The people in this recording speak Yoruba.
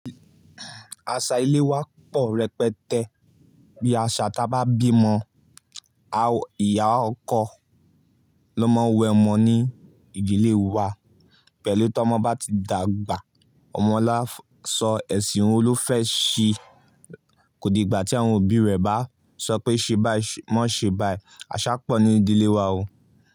Aṣa ilé wa pọ̀ rẹpẹtẹ. Bí aṣa ta bá bímọ, ìyá ọkọ ló máa ń wẹ ọmọ ní ìdílé wa. Pẹ̀lú tí ọmọ bá ti dàgbà, ọmọ lá sọ ẹ̀sìn Olufẹ́ẹ̀ṣi. Kò di ìgbà tí àwọn òbí rẹ̀ bá sọ pé ṣe bái, má ṣe bái. Aṣa pọ̀ ní ìdílé wa o.